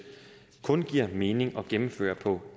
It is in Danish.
kun giver mening at gennemføre på